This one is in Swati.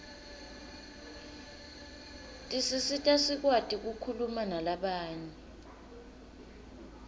tisisita sikwati kukhulumanalabanye